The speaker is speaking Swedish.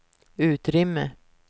utrymme